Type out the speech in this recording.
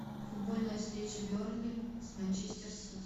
футбольная встреча бернли с манчестер сити